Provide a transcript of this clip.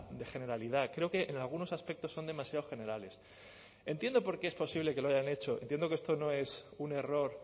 de generalidad creo que en algunos aspectos son demasiado generales entiendo por qué es posible que lo hayan hecho entiendo que esto no es un error